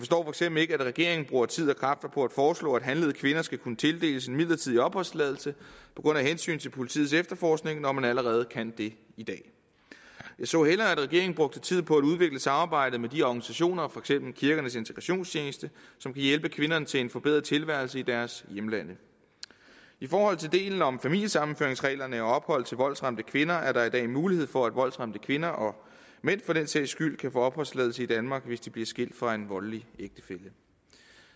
eksempel ikke at regeringen bruger tid og kræfter på at foreslå at handlede kvinder skal kunne tildeles en midlertidig opholdstilladelse af hensyn til politiets efterforskning når man allerede kan det i dag jeg så hellere at regeringen brugte tid på at udvikle samarbejdet med de organisationer for eksempel kirkernes integrations tjeneste som kan hjælpe kvinderne til en forbedret tilværelse i deres hjemlande i forhold til delen om familiesammenføringsreglerne og ophold til voldsramte kvinder er der i dag mulighed for at voldsramte kvinder og mænd for den sags skyld kan få opholdstilladelse i danmark hvis de bliver skilt fra en voldelig ægtefælle